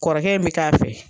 Kɔrɔkɛ in bi k'a fɛ